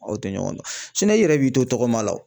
Aw tɛ ɲɔgɔn dɔn i yɛrɛ b'i to tɔgɔma la o .